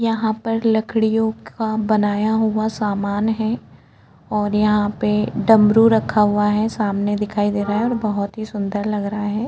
यहाँ पर लकड़ियों का बनाया हुआ सामान है और यहाँ पे डमरू रखा हुआ है सामने दिखाई दे रहा है और बहुत ही सुंदर लग रहा है।